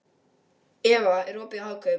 Eva, er opið í Hagkaup?